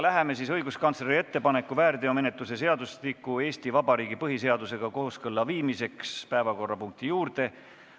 Läheme õiguskantsleri ettepaneku, väärteomenetluse seadustiku Eesti Vabariigi põhiseadusega kooskõlla viimiseks juurde.